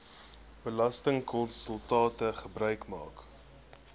belastingkonsultante gebruik maak